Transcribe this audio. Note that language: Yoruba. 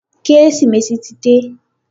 Kérésìmesì ti dé.